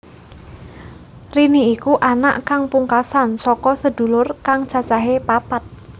Rini iku anak kang pungkasan saka sedulur kang cacahé papat